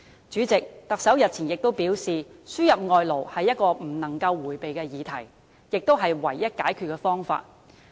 主席，特首日前亦表示，輸入外勞是不能迴避的議題，亦是唯一的解決方法。